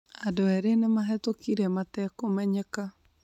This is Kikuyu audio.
Andũ eerĩ nimahĩtũkire matekũmenyeka